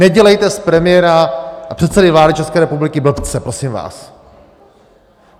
Nedělejte z premiéra a předsedy vlády České republiky blbce, prosím vás.